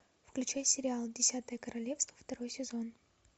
включай сериал десятое королевство второй сезон